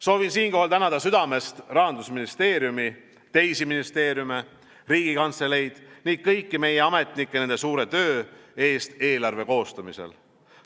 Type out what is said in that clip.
Soovin siinkohal tänada südamest Rahandusministeeriumi, teisi ministeeriume, Riigikantseleid ning kõiki meie ametnikke nende suure töö eest eelarve koostamisel.